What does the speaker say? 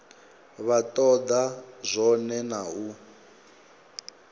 vha toda zwone na u